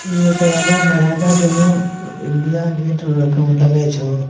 ई एक राजा महाराजा जनों इंडिया गेट लगय छे।